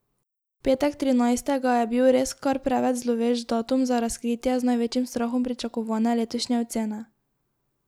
Petek trinajstega je bil res kar preveč zlovešč datum za razkritje z največjim strahom pričakovane letošnje ocene.